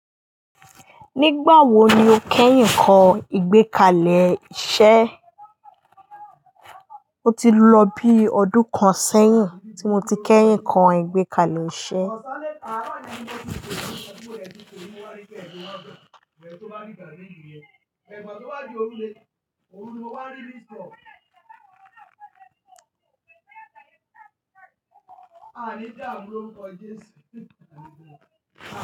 Nígbà wo ni o kẹ́yìn kọ ìgbẹ́kalẹ̀ iṣẹ́? O ti lọ bí ọdún kan sẹ́yìn tí mo ti kẹ́yìn kọ ìgbẹ́kalẹ̀ iṣẹ́.